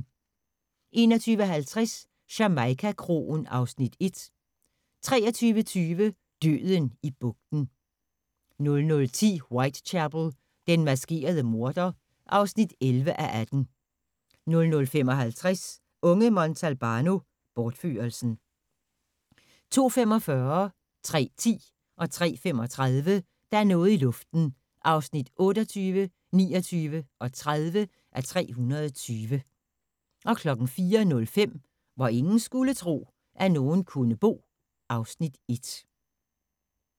21:50: Jamaica-kroen (Afs. 1) 23:20: Døden i bugten 00:10: Whitechapel: Den maskerede morder (11:18) 00:55: Unge Montalbano: Bortførelsen 02:45: Der er noget i luften (28:320) 03:10: Der er noget i luften (29:320) 03:35: Der er noget i luften (30:320) 04:05: Hvor ingen skulle tro, at nogen kunne bo (Afs. 1)